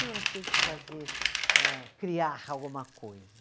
Não, elas tinha que fazer eh, criar alguma coisa.